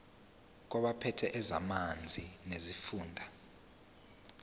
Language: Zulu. kwabaphethe ezamanzi nesifunda